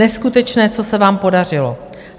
Neskutečné, co se vám podařilo.